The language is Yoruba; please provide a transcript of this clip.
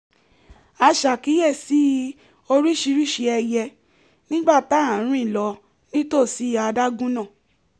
a ṣàkíyèsí oríṣiríṣi ẹyẹ nígbà tá à ń rìn lọ nítòsí adágún náà